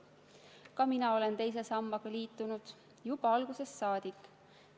Ka mina olen teise sambaga liitunud, juba algusest saadik.